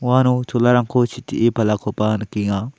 uano cholarangko sitee palakoba nikenga.